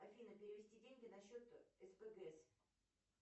афина перевести деньги на счет спгс